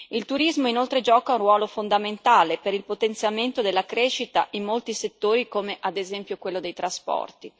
Il turismo, inoltre, gioca un ruolo fondamentale per il potenziamento della crescita in molti settori come ad esempio quello dei trasporti.